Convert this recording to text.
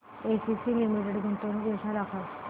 ACC limited गुंतवणूक योजना दाखव